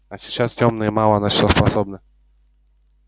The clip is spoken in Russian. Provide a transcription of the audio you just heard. а сейчас тёмные мало на что способны